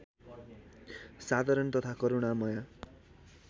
साधारण तथा करूणामय